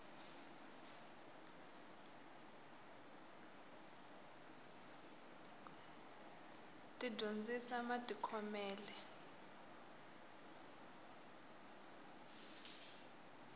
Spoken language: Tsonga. ti dyondzisa matikhomele